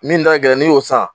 Min da ka gɛlɛn n'i y'o san.